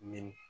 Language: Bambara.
Ni